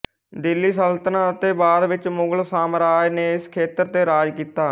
ਦਿੱਲੀ ਸਲਤਨਤ ਅਤੇ ਬਾਅਦ ਵਿੱਚ ਮੁਗਲ ਸਾਮਰਾਜ ਨੇ ਇਸ ਖੇਤਰ ਤੇ ਰਾਜ ਕੀਤਾ